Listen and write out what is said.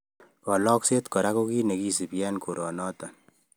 Kalokset kora ko kiy ne kisubiy eng koronotok